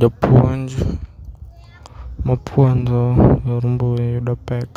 Japuonj mapuonjo e yor mbui yudo pek